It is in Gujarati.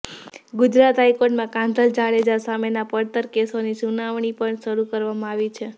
ગુજરાત હાઈકોર્ટમાં કાંધલ જાડેજા સામેના પડતર કેસોની સુનાવણી પણ શરૂ કરવામાં આવી છે